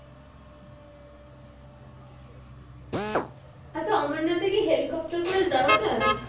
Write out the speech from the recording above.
আচ্ছা অমরনাথে কি helicopter করে যাওয়া যাই?